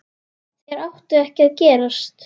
Þeir áttu ekki að gerast.